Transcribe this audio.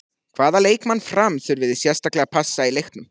Hvaða leikmann Fram þurfið þið sérstaklega að passa í leiknum?